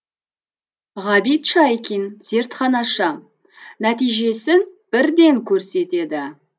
ғабит шайкин зертханашы нәтижесін бірден көрсетеді